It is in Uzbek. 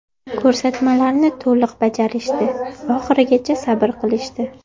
Ko‘rsatmalarni to‘liq bajarishdi, oxirigacha sabr qilishdi.